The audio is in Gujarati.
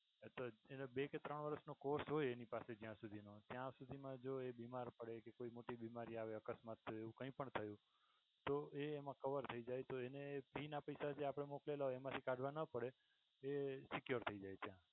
તો એને બે કે ત્રણ વર્ષ નો course હોય એની પાસે જ્યાં સુધીનો ત્યાં સુધીમા તો એ બીમાર પડે કે કોઈ મોટી બીમારી આવે અકસ્માત થાય એવું કઈ પણ થયું તો એ એમા cover થઈ જાય તો એને fee ના પૈસા આપણે જે મોકલેલ હોય એ કાઢવા ના પડે. એ સિક્યોર થઈ જાય છે.